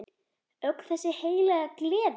Öll þessi heilaga gleði!